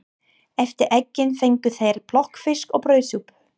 Eftir eggin fengu þeir plokkfisk og brauðsúpu.